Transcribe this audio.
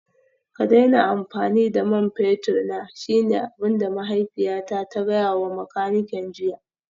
Ka daina amfani da man fetur na shine abin da mahaifiyata ta gaya wa makanikin jiya